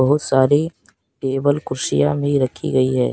बहुत सारी टेबल कुर्सियां भी रखी गई है।